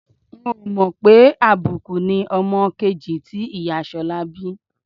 N ò mọ̀ pé àbíkú ni ọmọ kejì tí ìyá Ṣọlá bí